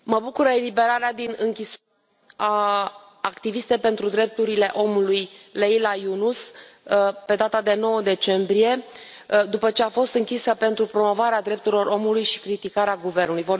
Mă bucură eliberarea din închisoare a activistei pentru drepturile omului Leyla Yunus pe data de 9 decembrie, după ce a fost închisă pentru promovarea drepturilor omului și criticarea guvernului.